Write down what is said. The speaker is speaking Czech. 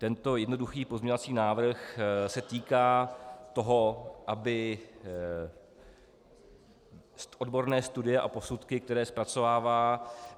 Tento jednoduchý pozměňovací návrh se týká toho, aby odborné studie a posudky, které zpracovává